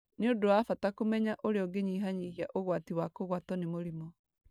Nĩ ũndũ wa bata kũmenya ũrĩa ũngĩnyihanyihia ũgwati wa kũgwatwo nĩ mũrimũ.